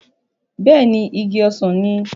Bẹ́ẹ̀ ni, igi ọsàn ni.